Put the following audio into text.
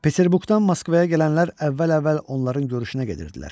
Peterburqdan Moskvaya gələnlər əvvəl-əvvəl onların görüşünə gedirdilər.